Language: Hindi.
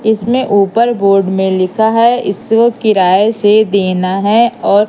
इसमें ऊपर बोर्ड में लिखा है इसे किराए से देना है और--